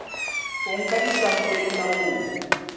o nka disampole tsa mobu